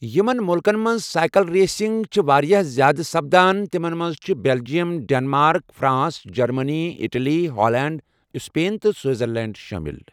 یِمَن مُلکَن منٛز سائیکل ریسنگ چِھ واریاہ زیادٕ سپدان، تِمَن منٛز چھِ Belgium, Denmark, France, Germany, Italy, Holland, Spain تہٕ سوئٹزرلینڈ شٲمِل۔